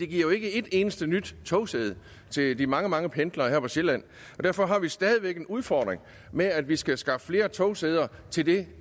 giver ikke et eneste nyt togsæde til de mange mange pendlere her på sjælland derfor har vi stadig væk en udfordring med at vi skal skaffe flere togsæder til det